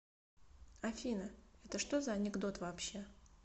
афина это что за анекдот вообще